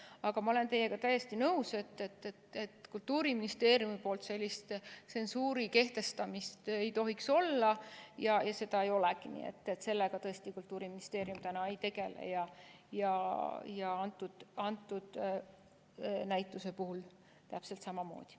Aga ma olen teiega täiesti nõus, et Kultuuriministeeriumi poolt sellist tsensuuri kehtestamist ei tohiks olla ja seda ei olegi, sellega tõesti Kultuuriministeerium täna ei tegele, selle näituse puhul täpselt samamoodi.